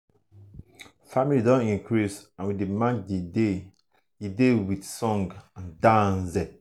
family don increase and we dey mark the day the day with um song and dance.